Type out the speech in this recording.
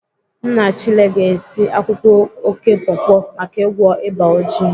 Nna Chile ga-esi akwụkwọ oké pọpọ maka ịgwọ ịba oji